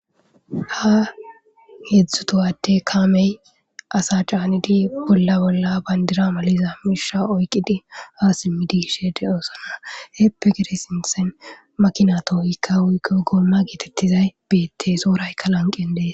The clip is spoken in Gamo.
Ha heedzdzu tohate kaamey asa caanidi bolla bolla bayndira maliza misha oykqidi ha simmidishe de7oosonna heeppe gede sinsen makina tohohykka wuykko goomma geetettizay beettey soorayka lanqen dees.